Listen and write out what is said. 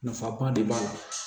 Nafaba de b'a la